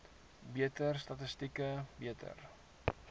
beter statistiek beter